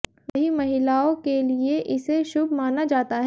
वही महिलाओ के लिए इसे शुभ माना जाता है